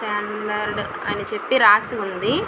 Standard అని చెప్పి రాసి వుంది.